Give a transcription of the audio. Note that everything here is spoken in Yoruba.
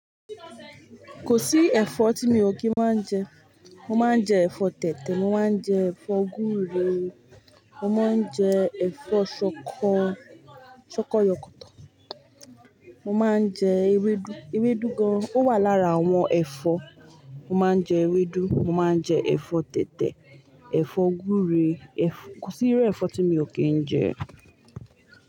Kò sí ẹ̀fọ́ tí mi ò kí máa ń jẹ. Mo máa ń jẹ ẹ̀fọ́ tètè, mo máa ń jẹ ẹ̀fọ́ gúúre, mo máa ń jẹ ẹ̀fọ́ ṣọkọ-ṣọkọ yọkọ́tọ̀. Mo máa ń jẹ ewedu, ewedu gan an. Ó wà lára àwọn ẹ̀fọ́. Mo máa ń jẹ ewedu, mo máa ń jẹ ẹ̀fọ́ tètè, ẹ̀fọ́ gúúre. Ẹ̀f-- kò sí irú ẹ̀fọ́ tí mi ò kí ń jẹ.